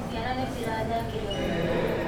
Ciana nĩcirathakire mũno ira.